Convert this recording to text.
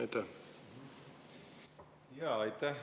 Aitäh!